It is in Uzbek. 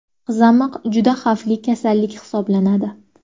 Qizamiq juda xavfli kasallik hisoblanadi.